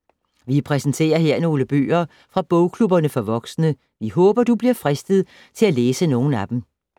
Vi præsenterer her nogle bøger fra bogklubberne for voksne. Vi håber, at du bliver fristet til at læse nogle af dem.